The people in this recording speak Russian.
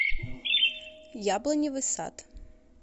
яблоневый сад